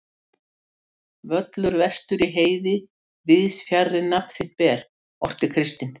Völlur vestur í heiði, víðs fjarri nafn þitt ber, orti Kristinn.